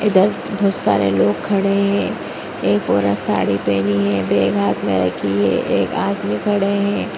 इधर बहुत सारे लोग खड़े हैं एक औरत साड़ी पहनी है बैग हाथ में रखी है एक आदमी खड़े है।